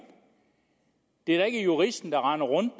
det er da ikke juristen der render rundt og